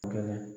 Kɛlɛ